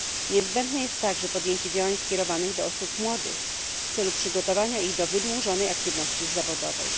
Niezbędne jest także podjęcie działań skierowanych do osób młodych w celu przygotowania ich do wydłużonej aktywności zawodowej.